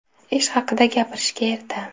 Ish haqida gapirishga erta.